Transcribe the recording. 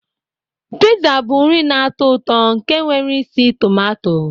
Piza bụ nri na-atọ ụtọ nke nwere isi tumato.